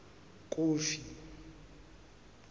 kofi